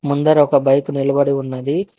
ముందర ఒక బైక్ నిలబడి ఉన్నది.